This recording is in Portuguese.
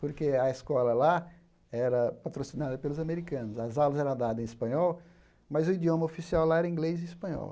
Porque a escola lá era patrocinada pelos americanos, as aulas eram dadas em espanhol, mas o idioma oficial lá era inglês e espanhol.